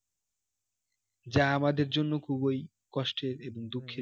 যা আমাদের জন্য খুবই কষ্টের এবং দুঃখের